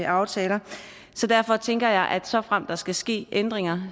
aftaler så derfor tænker jeg at såfremt der skal ske ændringer